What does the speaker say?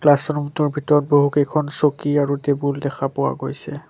Classroom টোৰ ভিতৰত বহুকেইখন চকী আৰু টেবুল দেখা পোৱা গৈছে।